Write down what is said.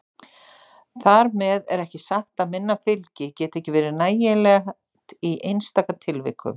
Þar með er ekki sagt að minna fylgi geti ekki verið nægilegt í einstaka tilvikum.